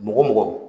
Mɔgɔ mɔgɔ